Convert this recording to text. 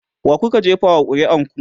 wakuka jefa wa ƙuri'ar ku?